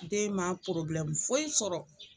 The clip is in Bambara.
Den ma foyi sɔrɔ